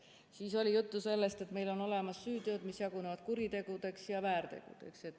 Siis oli juttu sellest, et meil on olemas süüteod, mis jagunevad kuritegudeks ja väärtegudeks.